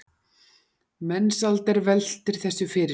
Mensalder veltir þessu fyrir sér.